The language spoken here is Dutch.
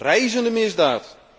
Reizende misdaad.